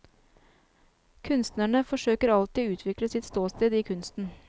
Kunstnerne forsøker alltid å utvikle sitt ståsted i kunsten.